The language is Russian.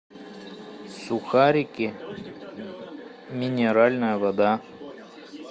сухарики минеральная вода